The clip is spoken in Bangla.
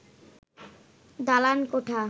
দালান কোঠা